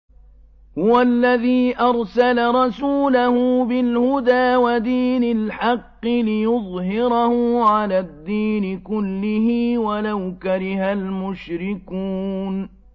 هُوَ الَّذِي أَرْسَلَ رَسُولَهُ بِالْهُدَىٰ وَدِينِ الْحَقِّ لِيُظْهِرَهُ عَلَى الدِّينِ كُلِّهِ وَلَوْ كَرِهَ الْمُشْرِكُونَ